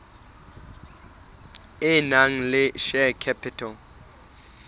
e nang le share capital